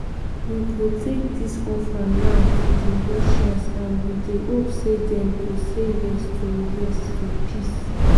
"we go take dis offer now to di russians and we dey hope say dem go say yes to yes to peace.